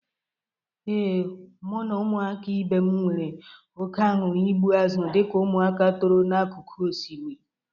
Ee, mụ na ụmụaka ibe m nwere oke anụrụ igbu azụ dịka ụmụaka toro n'akụkụ osmiri.